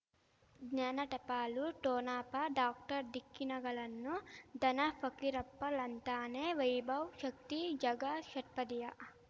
ಜ್ಞಾನ ಟಪಾಲು ಠೊಣಪ ಡಾಕ್ಟರ್ ಢಿಕ್ಕಿ ಣಗಳನು ಧನ ಫಕೀರಪ್ಪ ಳಂತಾನೆ ವೈಭವ್ ಶಕ್ತಿ ಝಗಾ ಷಟ್ಪದಿಯ